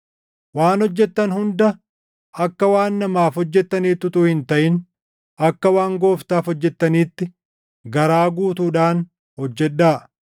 Waan hojjettan hunda akka waan namaaf hojjettaniitti utuu hin taʼin akka waan Gooftaaf hojjettaniitti garaa guutuudhaan hojjedhaa;